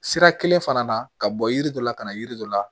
Sira kelen fana na ka bɔ yiri dɔ la ka na yiri dɔ la